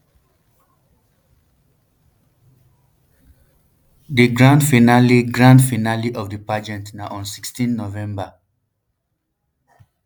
di grand finale grand finale of di pageant na on sixteen november